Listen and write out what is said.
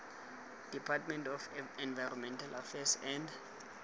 department of environmental affairs and